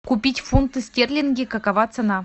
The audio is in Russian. купить фунты стерлинги какова цена